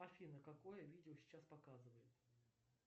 афина какое видео сейчас показывают